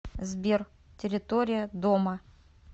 сбер территория дома